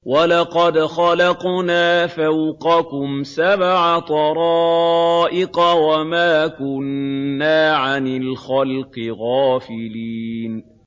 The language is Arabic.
وَلَقَدْ خَلَقْنَا فَوْقَكُمْ سَبْعَ طَرَائِقَ وَمَا كُنَّا عَنِ الْخَلْقِ غَافِلِينَ